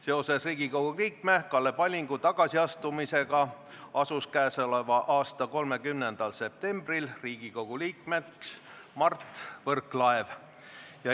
Seoses Riigikogu liikme Kalle Pallingu tagasiastumisega asus käesoleva aasta 30. septembril Riigikogu liikmeks Mart Võrklaev.